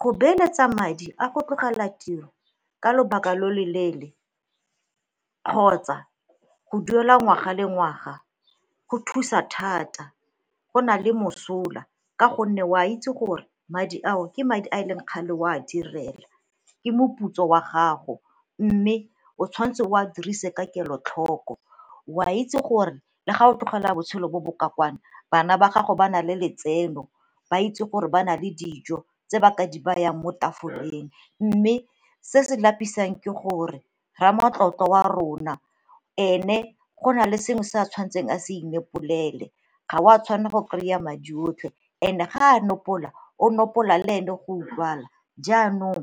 Go beeletsa madi a go tlogela tiro ka lobaka lo le leele kgotsa go duela ngwaga le ngwaga go thusa thata go na le mosola ka gonne o a itse gore madi ao ke madi a leng kgale o a direla, ke moputso wa gago mme o tshwanetse o a dirise ka kelotlhoko. O a itse gore le ga o tlogela botshelo bo bo kwa kano bana ba gago ba na le letseno, ba itse gore ba na le dijo tse ba ka di bayang mo tafoleng. Mme se se lapisang ke gore ramatlotlo wa a rona ene go na le sengwe se a tshwanetseng a se inopolele ga o a tshwanela go kry-a madi otlhe and-e ga a nopola, o nopola le ene go utlwala. Jaanong